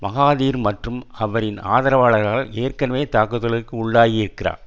Mahathir மற்றும் அவரின் ஆதரவாளர்களால் ஏற்கனவே தாக்குதலுக்கு உள்ளாகியிருகிறார்